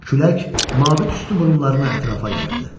Külək mavi tüstü burumlarını ətrafa yayırdı.